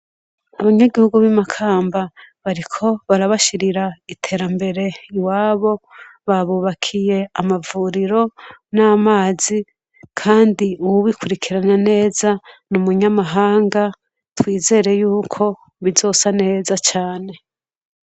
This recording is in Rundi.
Abanyagihugu bimakamba bariko barabashirira iterambere iwabo babubakiye amavuriro namazi kandi uwubikurikiranya neza numunyamahanga twizere yuko bizosa neza cane